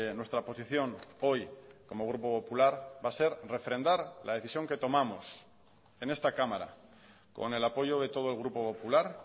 nuestra posición hoy como grupo popular va a ser refrendar la decisión que tomamos en esta cámara con el apoyo de todo el grupo popular